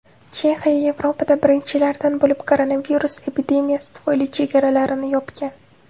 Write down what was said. Chexiya Yevropada birinchilardan bo‘lib koronavirus epidemiyasi tufayli chegaralarini yopgan.